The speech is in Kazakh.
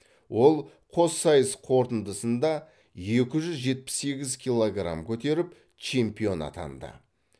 ол қоссайыс қорытындысында екі жүз жетпіс сегіз килограмм көтеріп чемпион атанды